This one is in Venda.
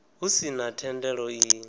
hu si na thendelo i